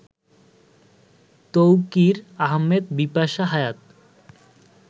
Tauqir Ahmed Bipasha Hayat